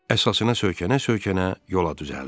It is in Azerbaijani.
Əsasına söykənə-söykənə yola düzəldi.